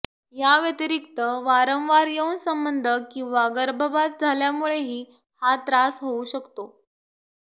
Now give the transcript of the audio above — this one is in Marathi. याव्यतिरिक्त वारंवार यौन संबंध किंवा गर्भपात झाल्यामुळेही हा त्रास होऊ शकतो